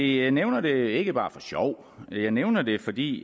jeg nævner det ikke bare for sjov jeg nævner det fordi